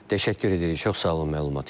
Təşəkkür edirik, çox sağ olun məlumat üçün.